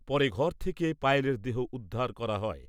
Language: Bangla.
পরে ঘর থেকে পায়েলের দেহ উদ্ধার হয়।